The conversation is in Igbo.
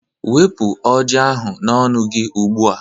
Wepu oji ahu n'ọnụ gị ugbu a